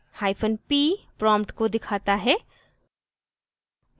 hyphen p prompt को दिखाता है